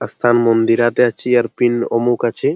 অস্থান মন্দিরাতে চিয়ারপিন অমুখ আছে।